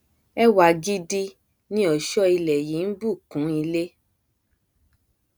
ẹwà gidi ni ọṣọ ilẹ yí nbù kún ilé